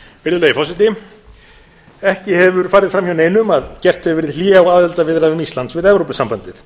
virðulegi forseti ekki hefur farið fram hjá neinum að gert hefur verið hlé á aðildarviðræðum íslands við evrópusambandið